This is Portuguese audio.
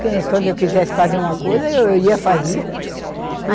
Quando eu quisesse fazer uma coisa, eu ia fazia.